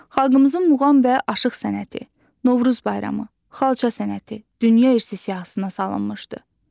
Xalqımızın muğam və aşıq sənəti, Novruz bayramı, xalça sənəti dünya irsi siyahısına salınmışdı.